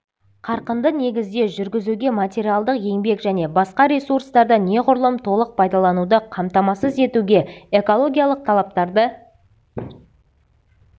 қарқынды негізде жүргізуге материалдық еңбек және басқа ресурстарды неғұрлым толық пайдалануды қамтамасыз етуге экологиялық талаптарды